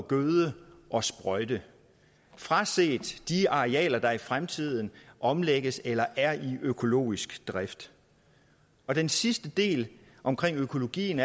gøde og sprøjte fraset de arealer der i fremtiden omlægges eller er i økologisk drift den sidste del omkring økologien